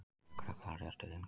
Lögregla réðst til inngöngu